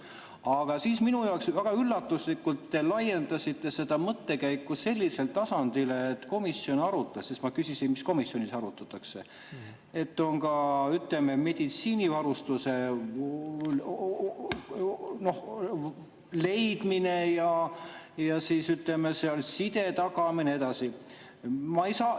Aga siis minu jaoks väga üllatuslikult te laiendasite seda mõttekäiku sellisele tasandile, et komisjon arutas – sest ma küsisin, mida komisjonis arutatakse –, et on ka, ütleme, meditsiinivarustuse leidmine ja side tagamine ja nii edasi.